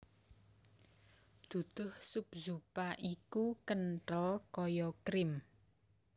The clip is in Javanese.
Duduh sup zupa iku kenthel kaya krim